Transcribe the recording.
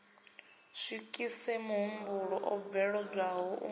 swikise mahumbulwa o bveledzwaho u